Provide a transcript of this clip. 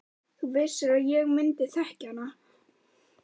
Þú vissir að ég myndi þekkja hana.